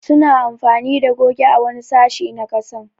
Su na amfani da goge a wani sashi na kasan.